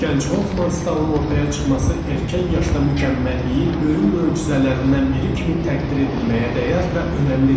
Gənc Hofmannstalın ortaya çıxması erkən yaşda mükəmməlliyin böyük möcüzələrindən biri kimi təqdir edilməyə dəyər və önəmlidir.